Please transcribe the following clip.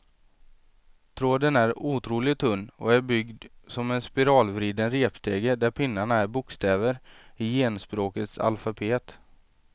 Tråden är otroligt tunn och är byggd som en spiralvriden repstege där pinnarna är bokstäver i genspråkets alfabet.